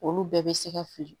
Olu bɛɛ bɛ se ka fili